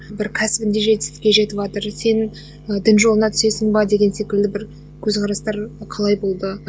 бір кәсібінде жетістікке жетіватыр сен і дін жолына түсесің бе деген секілді бір көзқарастар қалай болды